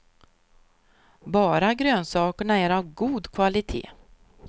Bara grönsakerna är av god kvalitet.